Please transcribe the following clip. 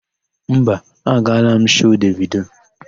Mba, agaala m shoo Devido.